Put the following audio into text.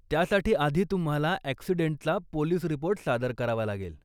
त्यासाठी आधी तुम्हाला अॅक्सिडेंटचा पोलीस रिपोर्ट सादर करावा लागेल.